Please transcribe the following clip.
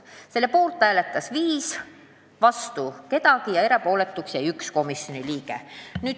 Selle poolt hääletas viis inimest, vastu mitte keegi ja erapooletuks jäi üks komisjoni liige.